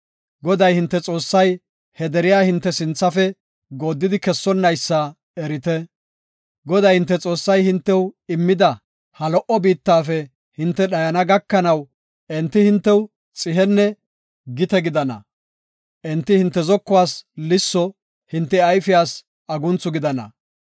Goday, hinte Xoossay he deriya hinte sinthafe gooddidi kessonnaysa erite. Goday, hinte Xoossay hintew immida ha lo77o biittafe hinte dhayana gakanaw, enti hintew xihenne gite gidana. Enti hinte zokuwas lisso, hinte ayfiyas agunthu gidana.